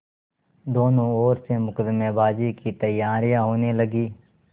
दोनों ओर से मुकदमेबाजी की तैयारियॉँ होने लगीं